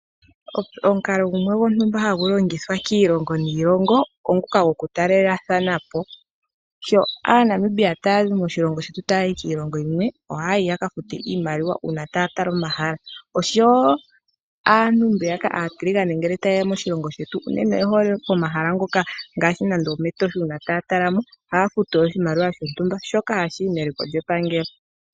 Omikalo gumwe hagu longitha kiilongo yontumba oombuka goku taalelepo haya futu oshimaliwa shontumba shoka hashiyi meliko lyepangelo